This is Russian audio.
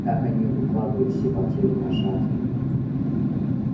как они выкладывались и потели на жатве